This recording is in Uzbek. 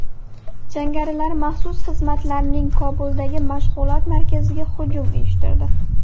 Jangarilar maxsus xizmatlarning Kobuldagi mashg‘ulot markaziga hujum uyushtirdi.